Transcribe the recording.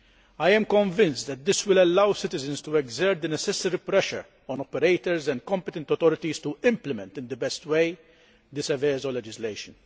I am convinced that this will allow citizens to exert the necessary pressure on operators and competent authorities to implement in the best way the Seveso legislation.